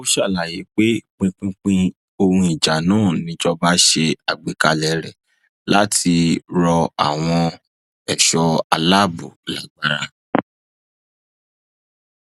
ó ṣàlàyé pé pinpin ohun ìjà náà níjọba ṣe àgbékalẹ rẹ láti rọ àwọn ẹṣọ aláàbò lágbára